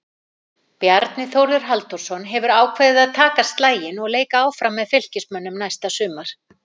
Bjarni Þórður Halldórsson hefur ákveðið að taka slaginn og leika áfram með Fylkismönnum næsta sumar.